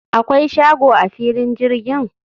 akwai shago a filin jirgin?